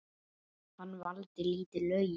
Hann valdi lítið lauf.